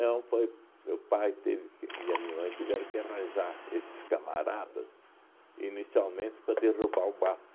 foi, meu pai teve que e a minha mãe tiveram que arranjar esses camaradas inicialmente para derrubar o mato.